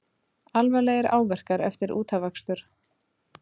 Alvarlegir áverkar eftir útafakstur